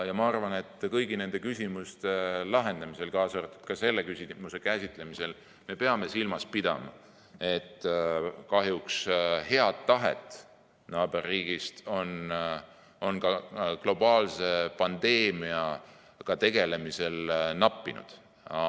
Ma arvan, et kõigi nende küsimuste lahendamisel, kaasa arvatud selle küsimuse käsitlemisel me peame silmas pidama, et kahjuks on head tahet naaberriigis ka globaalse pandeemiaga tegelemisel nappinud.